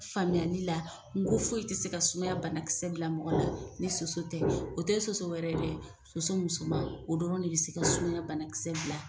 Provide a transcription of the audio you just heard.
Faamuyali la n ko foyi ti se ka sumaya bana kisɛ bila mɔgɔ la ni soso tɛ, o te soso wɛrɛ dɛ, soso musoman o dɔrɔn de bi se ka sumaya bana kisɛ bila